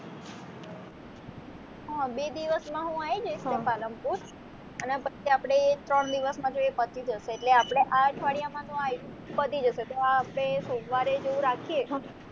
હ બે દીવસમા હું આઈ જઈશ ત્યાં પાલનપુર અને પછી આપણે પછી ત્રણ દિવસમાં જો એ પતિ જશે એટલે આપણે આ અઠવાડિયામાં તો આ આયરુ પતિ જશે તો આપણે સોમવારે જેવું રાખીએ